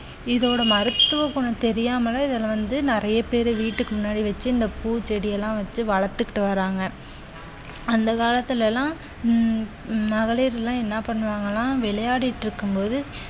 இதோட மருத்துவ குணம் தெரியாமலே இதுல வந்து நிறைய பேரு வீட்டுக்கு முன்னாடி வச்சு இந்த பூச்செடி எல்லாம் வச்சு வளர்த்துக்கிட்டு வர்றாங்க அந்த காலத்துல எல்லா உம் உம் மகளிர் எல்லாம் என்ன பண்ணுவாங்கன்னா விளையாடிட்டு இருக்கும்போது